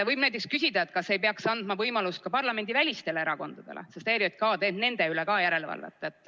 Võib näiteks küsida, kas ei peaks andma võimalust ka parlamendivälistele erakondadele, sest ERJK teeb ka nende üle järelevalvet.